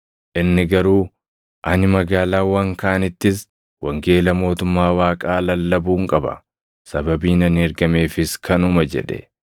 Inni garuu, “Ani magaalaawwan kaanittis wangeela mootummaa Waaqaa lallabuun qaba; sababiin ani ergameefis kanuma” jedhe.